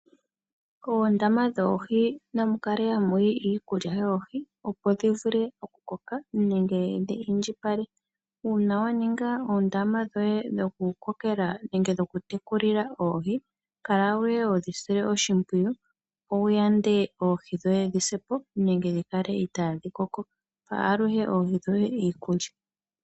Oondama dhoohi namu kale ha mu yi iikulya yoohi, opo dhi vule okukoka nenge dhi indjipale, uuna wa ninga oondama dhoye dhoku kokela nenge dho ku tekulila oohi, kala ihe ho dhi sile oshimpwiyu, opo wu yande oohi dhoye kaadhisepo nenge dhi kale itaadhi koko. Pa aluhe oohi dhoye iikulya.